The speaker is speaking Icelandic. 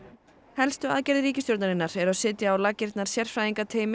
helstu aðgerðir ríkisstjórnarinnar eru að setja á laggirnar sérfræðingateymi